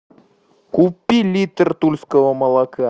купи литр тульского молока